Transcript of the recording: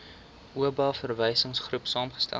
oba verwysingsgroep saamgestel